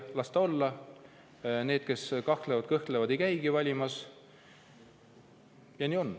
Las nad olla, need, kes kahtlevad ja kõhklevad, ei käigi valimas.